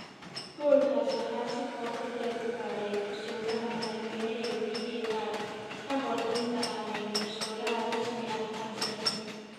Goolkaas waxaa si qoto dheer u baaray garsooraha madaxweyne ee VAR ka hor inta aanay garsooraha rasmi ah ansixin.